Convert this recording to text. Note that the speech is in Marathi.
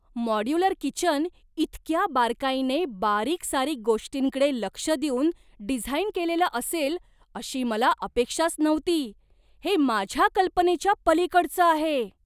मॉड्युलर किचन इतक्या बारकाईने बारीकसारीक गोष्टींकडे लक्ष देऊन डिझाइन केलेलं असेल अशी मला अपेक्षाच नव्हती! हे माझ्या कल्पनेच्या पलीकडचं आहे.